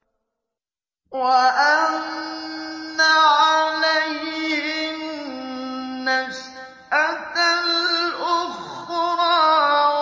وَأَنَّ عَلَيْهِ النَّشْأَةَ الْأُخْرَىٰ